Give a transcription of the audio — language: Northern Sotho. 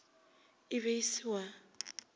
e be e se wa